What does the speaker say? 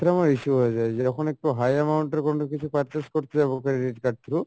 আমার issue হয়ে যাই যখন একটু high amount এর কোনো কিছু purchase করতে যাবো, credit card through